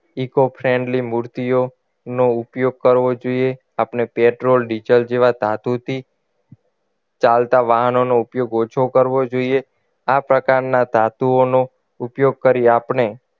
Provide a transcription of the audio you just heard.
Eco friendly મૂર્તિઓનો ઉપયોગ કરવો જોઈએ આપણે પેટ્રોલ ડીઝલ જેવા ધાતુથી ચાલતા વાહનોનો ઉપયોગ ઓછો કરવો જોઈએ આ પ્રકારના ધાતુઓનો ઉપયોગ કરી આપણે